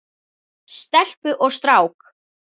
Stelpu og strák.